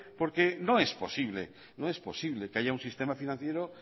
porque no es posible no es posible que haya un sistema financiero